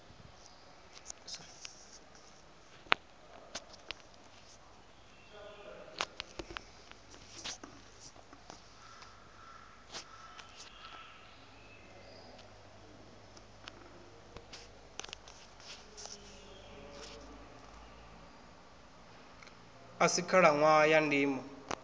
a si khalaṋwaha ya ndimo